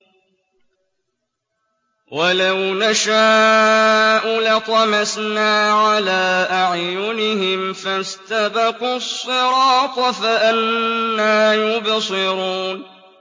وَلَوْ نَشَاءُ لَطَمَسْنَا عَلَىٰ أَعْيُنِهِمْ فَاسْتَبَقُوا الصِّرَاطَ فَأَنَّىٰ يُبْصِرُونَ